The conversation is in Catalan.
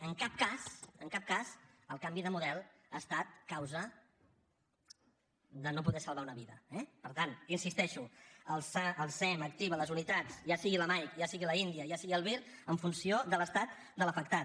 en cap cas en cap cas el canvi de model ha estat causa de no poder salvar una vida eh per tant hi insisteixo el sem activa les unitats ja sigui la mike ja sigui l’india ja sigui el vir en funció de l’estat de l’afectat